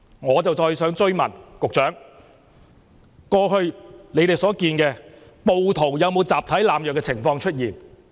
我想追問局長，過去以你們所見，暴徒有沒有出現集體濫藥的情況？